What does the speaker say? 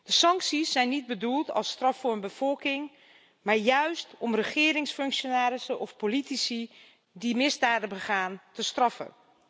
De sancties zijn niet bedoeld als straf voor een bevolking, maar juist om regeringsfunctionarissen of politici die misdaden begaan te straffen.